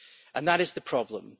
and that is the problem.